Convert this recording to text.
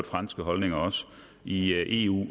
franske holdninger i eu